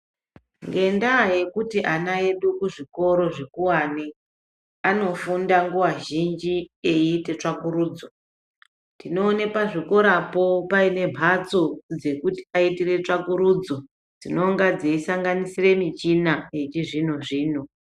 Ngendaa yekuti ana edu kuzvikoro zvikuwani anofunda nguva zhinji eiita tsvakurudzo ndinoona pazvikorapo paine mbatso dzekuti ana edu aitire tsvakurudzo dzinonga dzeisanganisira michina yechizvino zvino.